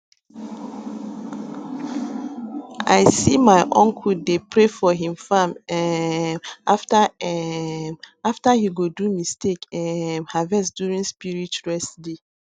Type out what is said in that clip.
i see my uncle dey pray for him farm um after um after he go do mistake um harvest during spirit rest day